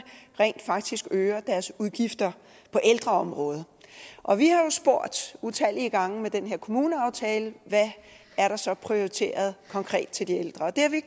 rent faktisk øger deres udgifter på ældreområdet og vi har jo spurgt utallige gange i den her kommuneaftale hvad der så er prioriteret konkret til de ældre og det har vi